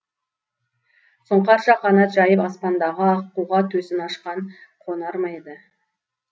сұңқарша қанат жайып аспандағы аққуға төсін ашқан қонар ма еді